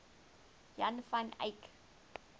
jan van eyck